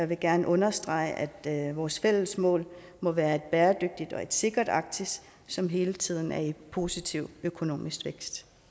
vil gerne understrege at vores fælles mål må være et bæredygtigt og sikkert arktis som hele tiden er i positiv økonomisk vækst